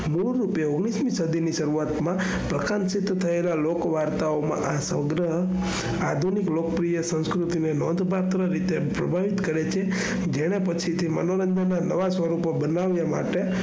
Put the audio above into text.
મૂળરૂપે ઓગણીસમી સદીની શરૂઆતમાં પ્રથમ સિદ્ધ થયેલા લોકવાર્તાઓમાં આ સોંદરા આધુનિક લોકપ્રિય સંસ્કૃતિને નોંધપાત્ર રીતે પ્રભાવિત કરે છે. જેના પછી તે મનોરંજન ના નવા સ્વરૂપ બનાવવા માટે,